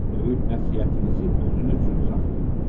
Öyüd-nəsihətinizi özünüz üçün saxlayın dedi.